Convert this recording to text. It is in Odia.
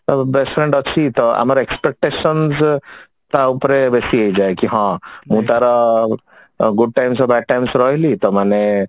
ଅ best friend ଅଛି ତ ଆମର expectations ତା ଉପରେ ବେସୀ ହେଇଯାଏ କି ହଁ ମୁଁ ତାର good times ଆଉ bad times ରହିଲି ତ ମାନେ